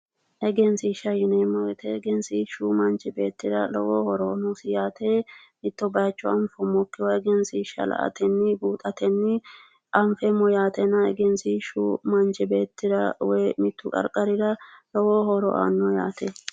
egensiishsha yineemmo wote manchi beettira lowo horo noosi mitto bayiicho anfoommokiwa egensiishsha la'atenni anfeemmo yaatena egensiishshu manchi beettira woyi mitte qarqarira lowo horo aanno yaate.